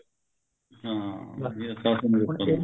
ਹਾਂ